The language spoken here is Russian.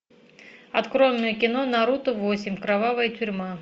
открой мне кино наруто восемь кровавая тюрьма